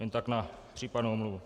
Jen tak na případnou omluvu.